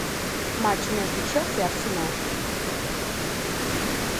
матч между челси и арсенал